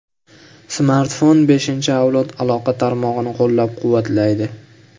Smartfon beshinchi avlod aloqa tarmog‘ini qo‘llab-quvvatlaydi.